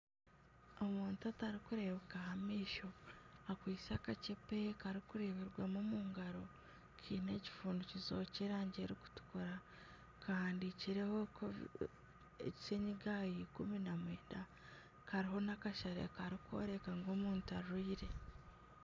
Omuntu otarikureebuka aha maisho akwaitse akaceepe karikureeberwamu omu ngaro kiine ekifundikizo ky'erangi erikutukura kahandikirweho covid 19 kariho nakashare karikworeka ngu omuntu arwaire.